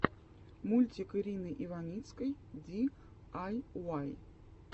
мультик ирины иваницкой ди ай уай